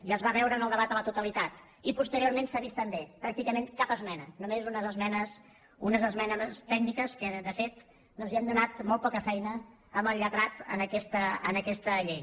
ja es va veure en el debat a la totalitat i posteriorment s’ha vist també pràcticament cap esmena només unes esmenes tècniques que de fet doncs li han donat molt poca feina al lletrat en aquesta llei